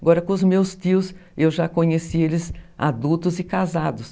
Agora, com os meus tios, eu já conheci eles adultos e casados.